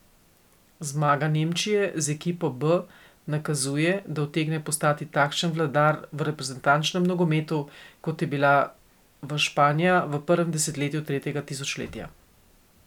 Zmaga Nemčije z ekipo B nakazuje, da utegne postati takšen vladar v reprezentančnem nogometu, kot je bila v Španija v prvem desetletju tretjega tisočletja.